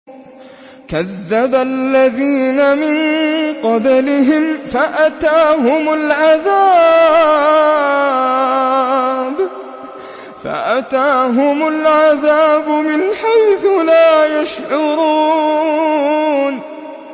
كَذَّبَ الَّذِينَ مِن قَبْلِهِمْ فَأَتَاهُمُ الْعَذَابُ مِنْ حَيْثُ لَا يَشْعُرُونَ